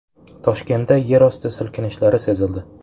Toshkentda yerosti silkinishlari sezildi .